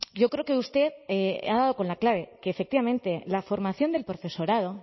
yo creo que usted ha dado con la clave que efectivamente la formación del profesorado